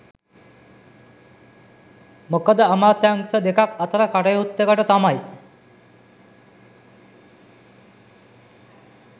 මොකද අමාත්‍යංශ දෙකක් අතර කටයුත්තකට තමයි